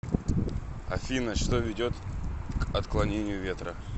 афина что ведет к отклонению ветра